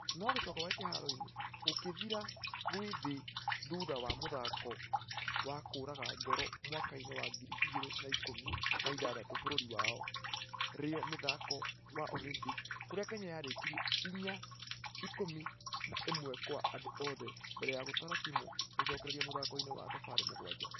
Nũgũcoka gwake kĩharo-inĩ gũkĩthira gwe thĩbthutha wa mũthako wa kũuraga ngoro mwaka-inĩ wa ngiri igĩrĩ na ikũmi na ithathatu bũrũri wa rio mĩthako wa Olympics. Kũrĩa kenya yarĩkirie ĩya ikũmi na ĩmwekwaandũ othe mbere ya gũtara timũ gũcokereria mũthako-inĩ wa thabarĩ mũgwaja.